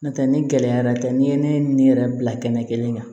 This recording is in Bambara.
N'o tɛ ni gɛlɛyara tɛ n'i ye ne ni yɛrɛ bila kɛnɛ kelen kan